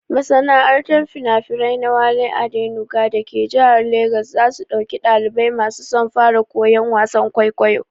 Masana'antar finafinai na Wale Adenuga dake jihar Legas za su ɗauki ɗalibai masu son fara wasan kwaikwayo.